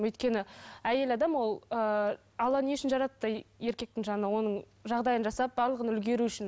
өйткені әйел адам ол ыыы алла не үшін жаратты еркектің жанына оның жағдайын жасап барлығын үлгеру үшін